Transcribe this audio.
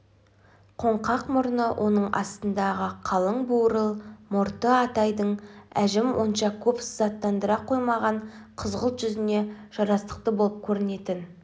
қоңқақ мұрны оның астындағы қалың бурыл мұрты атайдың әжім онша көп сызаттандыра қоймаған қызғылт жүзіне жарастықты болып көрінетін